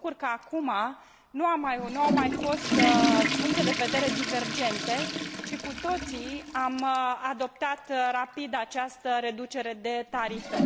Mă bucur că acum nu au mai fost puncte de vedere divergente, ci cu toții am adoptat rapid această reducere de tarife.